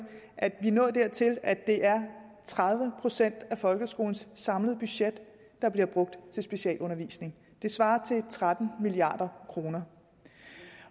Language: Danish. at vi er nået dertil at det er tredive procent af folkeskolens samlede budget der bliver brugt til specialundervisning det svarer til tretten milliard kroner